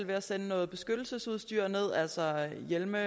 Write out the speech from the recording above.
ved at sende noget beskyttelsesudstyr derned altså hjelme